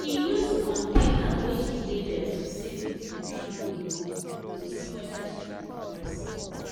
she use container wey she label to save with better money goal to see whether she dey progress.